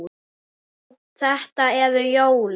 Já, þetta eru jólin!